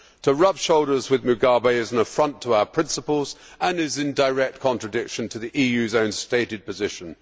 To rub shoulders with Mugabe is an affront to our principles and is in direct contradiction to the EU's own, stated position.